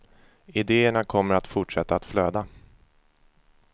Ideerna kommer att fortsätta att flöda.